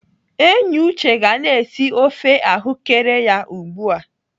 Enyi Uche ga na-esi ofe ahụ́kere ya ugbu a.